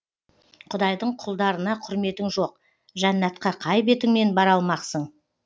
құдайдың құлдарына құрметің жоқ жәннатқа қай бетіңмен бара алмақсың